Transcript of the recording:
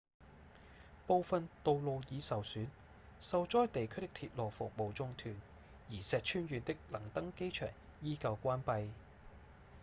部分道路已受損受災地區的鐵路服務中斷而石川縣的能登機場依舊關閉